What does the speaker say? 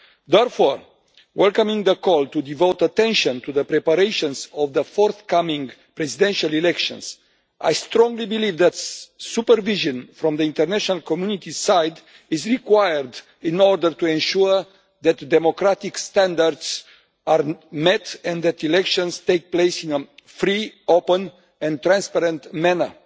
Therefore, in welcoming the call to devote attention to the preparations of the forthcoming presidential elections, I strongly believe that supervision from the international community's side is required in order to ensure that democratic standards are met, and that elections take place in a free, open and transparent manner.